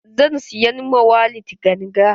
Zan siyan ma Walid ganga.